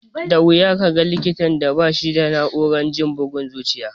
Da wuya ka ga likitan da ba shi da na'urar jin bugun zuciya.